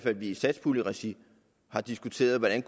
at vi i satspuljeregi har diskuteret hvordan